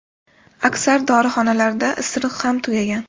Aksar dorixonalarda isiriq ham tugagan.